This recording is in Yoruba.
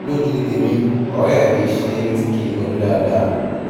lójú tèmi ọ̀rẹ́ rẹ kìí ṣe ẹni tí kìí ronú dáadáa